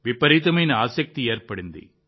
విపరీతమైన ఆసక్తి ఏర్పడింది